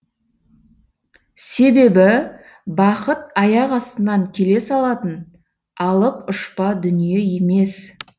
себебі бақыт аяқ астынан келе салатын алып ұшпа дүние емес